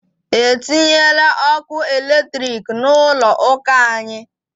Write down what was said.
E tinyela ọkụ eletrik n'ụlọ ụka anyị!